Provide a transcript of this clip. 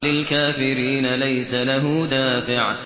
لِّلْكَافِرِينَ لَيْسَ لَهُ دَافِعٌ